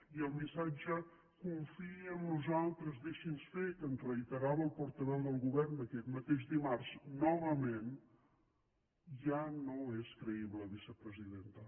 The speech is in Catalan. i el missatge confiï en nosaltres deixi’ns fer que ens reiterava el portaveu del govern aquest mateix dimarts novament ja no és creïble vicepresidenta